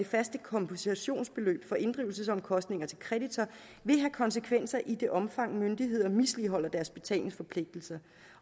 faste kompensationsbeløb for inddrivelsesomkostninger til kreditor vil have konsekvenser i det omfang myndigheder misligholder deres betalingsforpligtelser